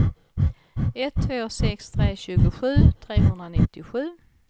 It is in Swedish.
ett två sex tre tjugosju trehundranittiosju